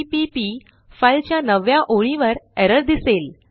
CPP file च्या नवव्या ओळीवर एरर दिसेल